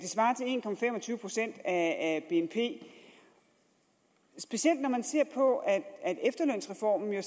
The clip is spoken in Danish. procent af bnp specielt når man ser på at efterlønsreformen jo